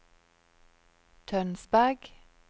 Tønsberg